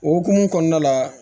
O hokumu kɔnɔna la